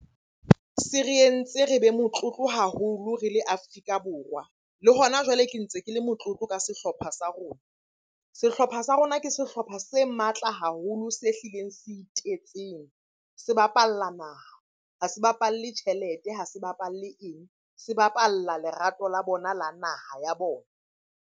Se re entse re be motlotlo haholo re le Afrika Borwa. Le hona jwale ke ntse ke le motlotlo ka sehlopha sa rona. Sehlopha sa rona ke sehlopha se matla hape haholo se hlileng se itetseng. Se bapalla naha, ha se bapalle tjhelete ha se bapalle eng? Se bapalla lerato la bona la naha ya bona.